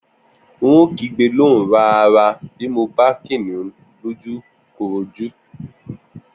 N óò kígbe lóhùn rara bí mo bá Kìnìún lójúkorojú